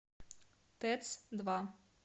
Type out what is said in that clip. тэц два